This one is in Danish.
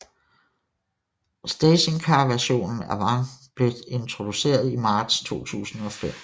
Stationcarversionen Avant blev introduceret i marts 2005